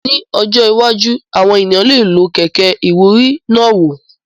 Ní ọjọ́ iwájú, àwọn ènìyàn lè lo kẹ̀kẹ́ ìwúrí náà wò